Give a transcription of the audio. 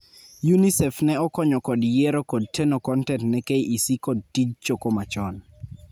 UNICEF ne okonyo kod yiero kod jteno kontent ne KEC kod tij choko machon.